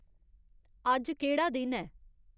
अज्ज केह्ड़ा दिन ऐ